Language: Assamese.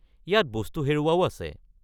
ইয়াত বস্তু হেৰুওৱাও আছে।